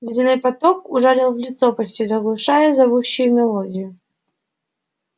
ледяной поток ужалил в лицо почти заглушая зовущую мелодию